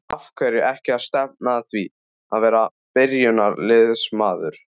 Af hverju ekki að stefna að því að vera byrjunarliðsmaður?